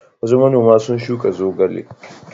Wasu manoma sun shuka zogale.